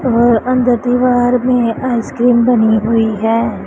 और अंदर दीवार में आईसक्रीम बनी हुई है।